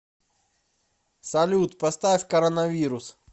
салют поставь коронавирус